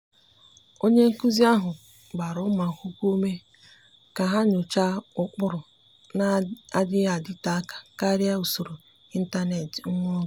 ọ́nye nkụ́zị́ ahụ́ gbara ụ́mụ́ ákwụ́kwọ́ ume kà há nyòcháá ụ́kpụ́rụ́ nà-adị́ghị́ ádị́tè áká kàrị́a usoro ị́ntánétị̀ nwa oge.